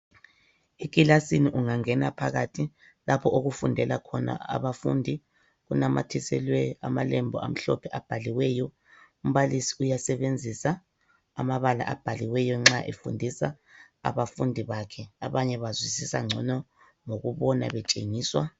Ekilasini ungangena phakathi lapho okufundela khona abafundi. Kunamathiselwe amalembu amhlophe abhaliweyo. Umbalisi uyasebenzisa amabala abhaliweyo nxa efundisa abafundi bakhe. Abanye bazwisisa ngcono ngokubona betshengiswa.